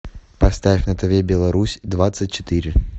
поставь на тв беларусь двадцать четыре